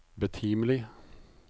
betimelig